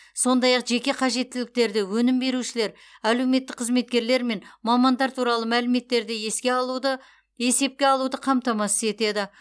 сондай ақ жеке қажеттіліктерді өнім берушілер әлеуметтік қызметкерлер мен мамандар туралы мәліметтерді еске алуды есепке алуды қамтамасыз етеді